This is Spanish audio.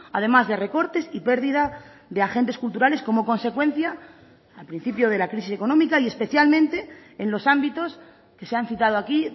además de recortes y perdida de agentes culturales como consecuencia al principio de la crisis económica y especialmente en los ámbitos que se han citado aquí